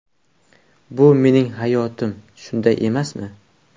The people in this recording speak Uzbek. Bu mening hayotim, shunday emasmi?